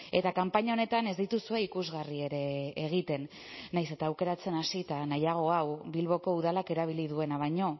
eta kanpaina honetan ez dituzue ikusgarri ere egiten nahiz eta aukeratzen hasita nahiago hau bilboko udalak erabili duena baino